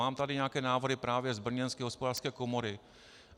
Mám tady nějaké návrhy právě z brněnské Hospodářské komory.